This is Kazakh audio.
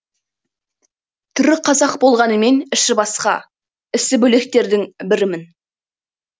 түрі қазақ болғанымен іші басқа ісі бөлектердің бірімін